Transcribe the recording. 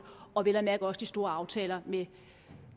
og vel at mærke også de store aftaler med